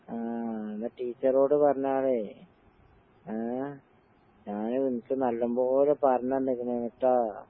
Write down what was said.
ആഹ് അന്നാ ടീച്ചറോട് പറഞ്ഞാ മതി. ഏഹ് ഞാന് നിനക്ക് നല്ലമ്പോലെ പറഞ്ഞന്ന്ക്കണേന്ന്ട്ടാ.